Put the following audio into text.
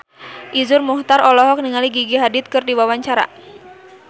Iszur Muchtar olohok ningali Gigi Hadid keur diwawancara